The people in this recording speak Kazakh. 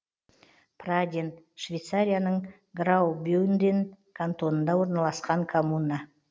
праден швейцарияның граубюнден кантонында орналасқан коммуна